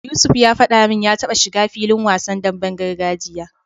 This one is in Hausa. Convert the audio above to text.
Yusuf ya faɗa min ya taba shiga filin wasan demben gargajiya.